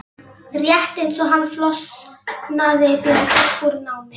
Rétt eins og hann flosnaði Björg upp úr námi.